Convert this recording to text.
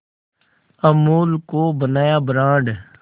अमूल को बनाया ब्रांड